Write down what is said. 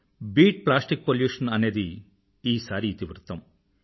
beat plastic pollution అనేది ఈసారి ఇతివృత్తం